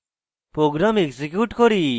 program execute করি